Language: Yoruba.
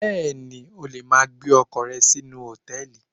Bẹ́ẹ̀ni, o lè ma gbé ọkọ̀ rẹ sínú Hòtẹ́lìì.